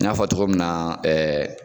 N y'a fɔ cɔgɔ min na